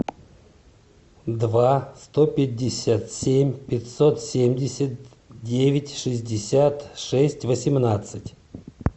два сто пятьдесят семь пятьсот семьдесят девять шестьдесят шесть восемнадцать